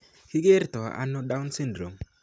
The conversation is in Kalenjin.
Kikerto ano Down syndrome?